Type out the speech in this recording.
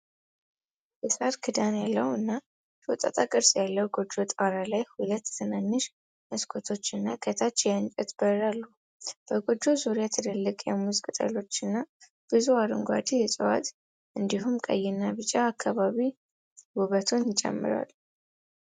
የሳር ክዳን ያለው እና ሾጣጣ ቅርጽ ያለው ጎጆ ጣራ ላይ ሁለት ትናንሽ መስኮቶች እና ከታች የእንጨት በር አሉ። በጎጆው ዙሪያ ትላልቅ የሙዝ ቅጠሎች እና ብዙ አረንጓዴ እፅዋት እንዲሁም ቀይና ቢጫ አበባዎች ውበቱን ይጨምራሉ።